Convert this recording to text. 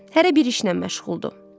Hərə bir işlə məşğuldur.